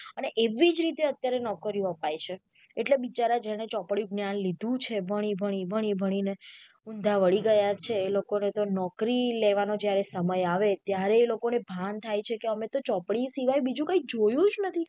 અને એવીજ રીતે અત્યારે નોકરીયો અપાય છે એટલે બિચારા જેણે ચોપડી જ્ઞાન લીધું છે ભણી ભણી ભણી ભણી ને ઊંધા વળી ગયા છે એ લોકો ને નોકરી લેવાનો જયારે સમય આવે ત્યારે એ લોકોને ભાન થાય છે કે અમે ચોપડી સિવાય બીજું કઈ જોયું જ નથી.